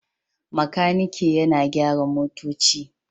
Makaniki yana gyara motoci